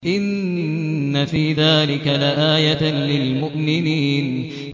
إِنَّ فِي ذَٰلِكَ لَآيَةً لِّلْمُؤْمِنِينَ